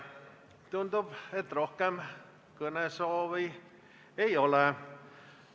Tundub, et rohkem kõnesoove ei ole.